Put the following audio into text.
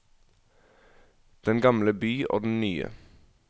Den gamle by og den nye.